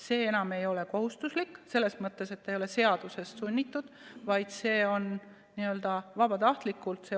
See enam ei ole kohustuslik, selles mõttes, et see ei ole seadusest tulenev sund, vaid see on n-ö vabatahtlik.